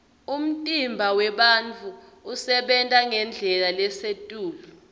umtimba wemuntfu usebenta ngendlela lesetulu